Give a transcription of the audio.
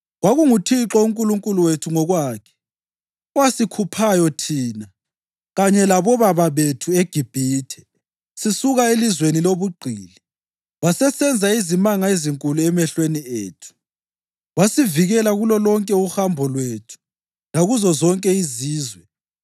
KwakunguThixo uNkulunkulu wethu ngokwakhe owasikhuphayo thina kanye labobaba eGibhithe sisuka elizweni lobugqili, wasesenza izimanga ezinkulu emehlweni ethu. Wasivikela kulolonke uhambo lwethu lakuzo zonke izizwe.